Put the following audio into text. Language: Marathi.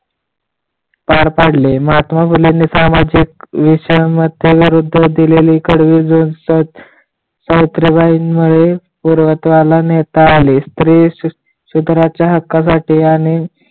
पार पाडले माथा मुलीने सामाजिक विषयांवरती दोष दिलेली कडवी जर सावित्रीबाई मुळे पूर्णत्वाला नेता आले स्त्री सुधाराच्या हक्कासाठी आणि